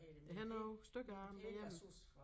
Jeg havde nogle stykker af dem derhjemme